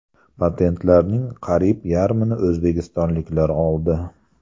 Patentlarning qariyb yarmini o‘zbekistonliklar oldi.